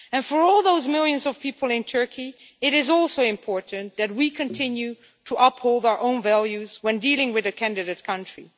And for all those millions of people in Turkey it is also important that we continue to uphold our own values when dealing with a candidate country.